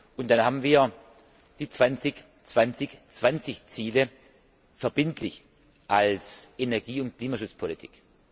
Und dann haben wir die zwanzig 2020 Ziele verbindlich als Energie und Klimaschutzpolitik.